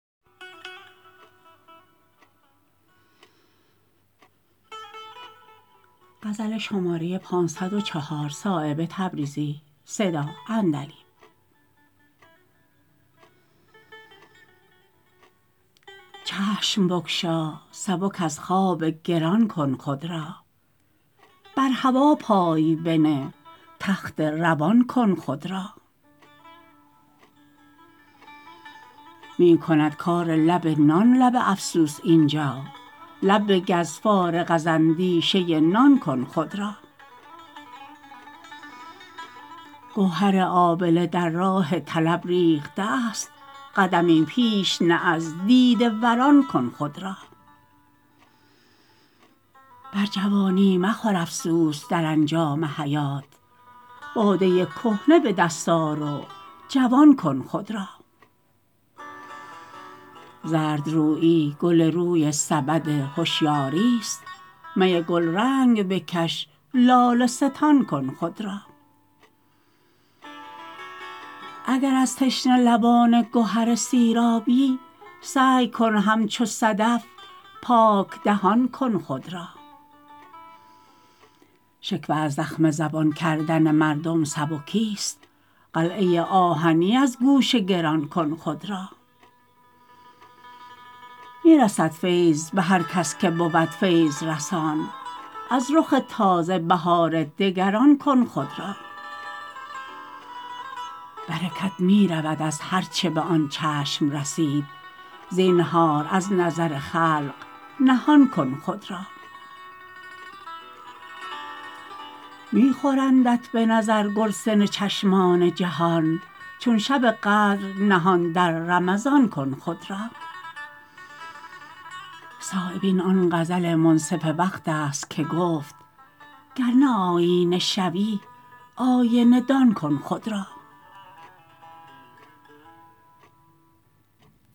چشم بگشا سبک از خواب گران کن خود را بر هوا پای بنه تخت روان کن خود را می کند کار لب نان لب افسوس اینجا لب بگز فارغ از اندیشه نان کن خود را گوهر آبله در راه طلب ریخته است قدمی پیش نه از دیده وران کن خود را بر جوانی مخور افسوس در انجام حیات باده کهنه به دست آر و جوان کن خود را زردرویی گل روی سبد هشیاری است می گلرنگ بکش لاله ستان کن خود را اگر از تشنه لبان گهر سیرابی سعی کن همچو صدف پاک دهان کن خود را شکوه از زخم زبان کردن مردم سبکی است قلعه آهنی از گوش گران کن خود را می رسد فیض به هر کس که بود فیض رسان از رخ تازه بهار دگران کن خود را برکت می رود از هر چه به آن چشم رسید زینهار از نظر خلق نهان کن خود را می خورندت به نظر گرسنه چشمان جهان چون شب قدر نهان در رمضان کن خود را صایب این آن غزل منصف وقت است که گفت گرنه آیینه شوی آینه دان کن خود را